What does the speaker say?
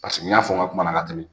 Paseke n y'a fɔ n ka kuma na ka tɛmɛ